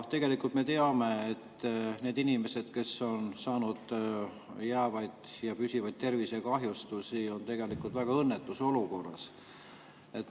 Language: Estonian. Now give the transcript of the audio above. Tegelikult me teame, et need inimesed, kes on saanud jäävaid, püsivaid tervisekahjustusi, on tegelikult väga õnnetus olukorras.